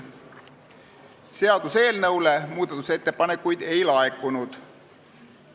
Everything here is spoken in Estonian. Seaduseelnõu kohta muudatusettepanekuid ei laekunud.